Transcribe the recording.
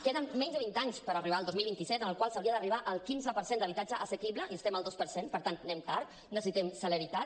queden menys de vint anys per arribar al dos mil vint set en què s’hauria d’arribar al quinze per cent d’habitatge assequible i estem al dos per cent per tant anem tard necessitem celeritat